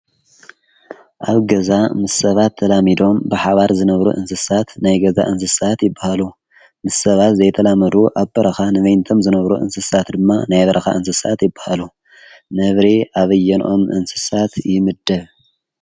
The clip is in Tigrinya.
ኣብ ገዛ ምስ ሰባት ተላሚዶም ብሓባር ዝነብሩ እንስሳት ናይ ገዛ እንስሳት ይበሃሉ፡፡ ምስ ሰባት ዘይተላመዱ ኣብ በረኻ ንበይንቶም ዝነብሩ እንስሳት ድማ ናይ በረኻ እንስሳት ይበሃሉ፡፡ ነብሪ ኣብየንኦም እንስሳት ይምደብ?